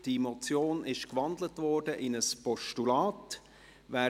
Diese Motion wurde in ein Postulat gewandelt.